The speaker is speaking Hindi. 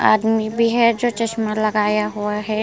आदमी भी है जो चश्मा लगाया हुआ है ।